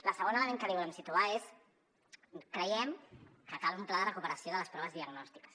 el segon element que volem situar és creiem que cal un pla de recuperació de les proves diagnòstiques